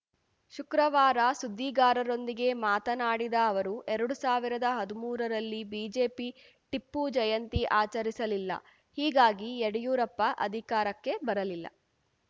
ಶುಕ್ರವಾರ ಸುದ್ದಿಗಾರರೊಂದಿಗೆ ಮಾತನಾಡಿದ ಅವರು ಎರಡು ಸಾವಿರದ ಹದುಮೂರರಲ್ಲಿ ಬಿಜೆಪಿ ಟಿಪ್ಪು ಜಯಂತಿ ಆಚರಿಸಲಿಲ್ಲ ಹೀಗಾಗಿ ಯಡಿಯೂರಪ್ಪ ಅಧಿಕಾರಕ್ಕೆ ಬರಲಿಲ್ಲ